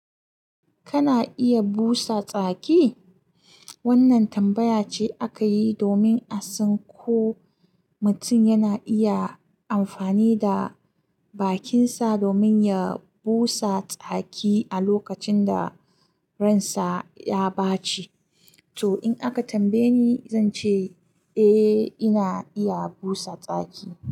Kana iya busa tsaki? Wannan tambaya ce aka yi domin a san ko mutum yana iya amfani da bakinsa domin ya busa tsaki a lokacin da ransa ya ɓaci. To, in aka tambaye ni, zan ce eh, ina iya busa tsaki.